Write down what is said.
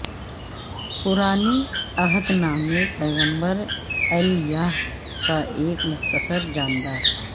پرانے عہد نامہ پیغمبر ایلیاہ کا ایک مختصر جاندار